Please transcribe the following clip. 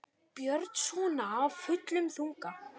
Björn: Svona af fullum þunga?